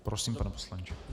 Prosím, pane poslanče.